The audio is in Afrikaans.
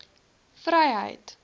vryheid